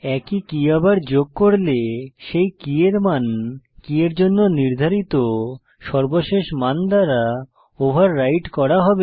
একই কী আবার যোগ করলে সেই কী এর মান কী এর জন্য নির্ধারিত সর্বশেষ মান দ্বারা ওভাররাইড করা হবে